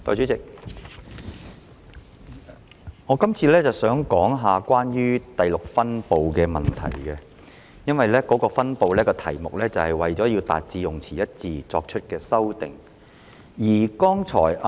代理主席，我這次想談論第6分部的問題，這個分部的題目是"為達致用詞一致而作出的修訂"。